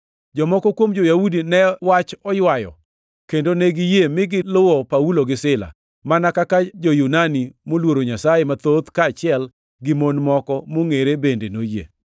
Jomoko kuom jo-Yahudi ne wach oywayo kendo ne giyie mi giluwo Paulo gi Sila, mana kaka jo-Yunani moluoro Nyasaye mathoth kaachiel gi mon moko mongʼere bende noyie.